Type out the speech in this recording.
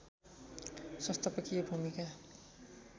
संस्थापकीय भूमिका